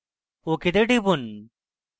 ok তে টিপুন